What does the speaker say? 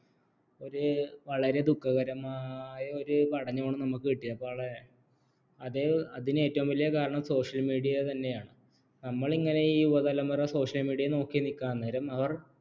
വളരെ ദുഃഖകരമായ ഒരു പഠനമാണ് നമുക്ക് കിട്ടിയത് അത് അതിന് ഏറ്റവും വലിയ കാരണം social media തന്നെയാണ് നമ്മളിങ്ങനെ ഈ യുവതലമുറ social media നോക്കി നിൽക്കുകയാണ്അന്നേരം അവർ ഒരു